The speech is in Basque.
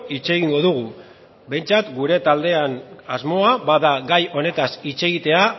hitz egingo dugu behintzat gure taldean bada asmoa gai honetaz hitz egitea